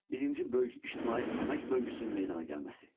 Birinci böyük ictimai əmək bölgüsünün meydana gəlməsi.